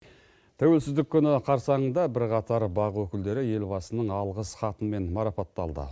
тәуелсіздік күні қарсаңында бірқатар бақ өкілдері елбасының алғыс хатымен марапатталды